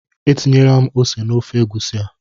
Etinyela m ose n'ofe egusi a.